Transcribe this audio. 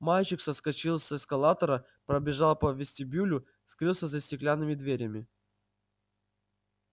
мальчик соскочил с эскалатора пробежал по вестибюлю скрылся за стеклянными дверями